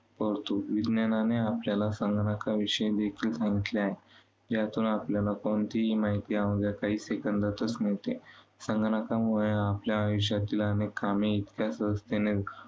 पडतो. विज्ञानाने आपल्याला संगणकाविषयी देखील सांगितले आहे. ज्यातून आपल्याला कोणतीही माहिती अवघ्या काही Second तच मिळते. संगणकामुळे आपल्या आयुष्यातील अनेक कामे इतक्या सहजतेने